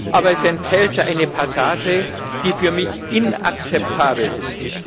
Aber es enthält eine Passage, die für mich inakzeptabel ist.